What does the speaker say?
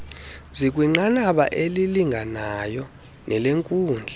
zikwinqanaba elilinganayo nelenkundla